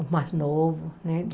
Os mais novos, né?